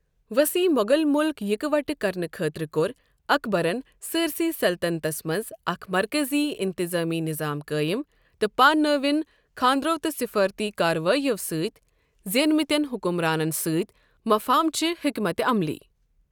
وصہیح مو٘غل مٗلك یكہِ وٹہٕ كرنہٕ خٲطرٕ كو٘ر اكبرن سٲرِسٕے سلطنتس منز اكھ مركزی انتظٲمی نِظام قٲیِم تہٕ پاننٲون خاندرو تہٕ سفارتی كاروایو٘ سۭتۍ زینِمتین حٗكٗمرانن سۭتۍ مٗفاہمتٕچہِ حیكمت عملی ۔